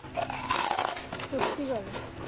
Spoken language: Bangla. সত্যি কারের